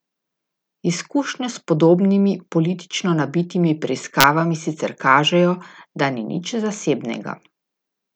Izkušnje s podobnimi politično nabitimi preiskavami sicer kažejo, da ni nič zasebnega.